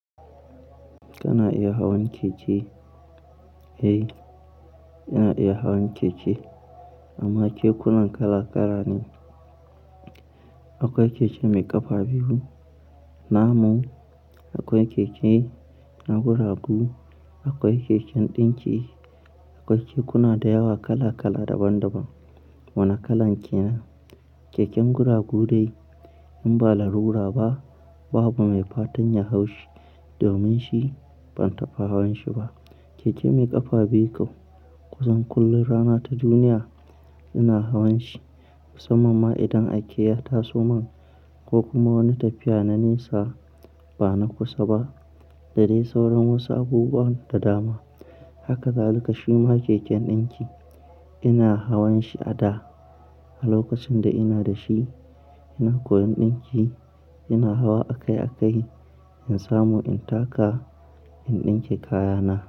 Kana iya hawan keke? Eh, ina iya hawan keke. Amma kekuna kala kala ne. Akwai keke mai ƙafa biyu, na mu, akwai keke na guragu, akwai keken ɗinki, akwai kekuna da yawa kala-kala daban-daban. Wane kalan ke nan? Keken guragu dai, in ba larura ba, babu mai fatan ya hau shi, domin shi, ban taɓa hawan shi ba. Keke mai ƙafa biyu kau, kusan kullum rana ta duniya ina hawan shi. Musamman ma idan aike ya taso man, ko kuma wani tafiya na nesa, ba na kusa ba, da dai sauran wasu abubuwan da dama. Haka zalika shima keken ɗinki, ina hawan shi a da, a lokacin da ina da shi, ina koyan ɗinki, ina hawa a kai a kai, in samu in taka, in ɗinke kayana.